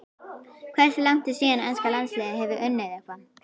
Hversu langt er síðan enska landsliðið hefur unnið eitthvað?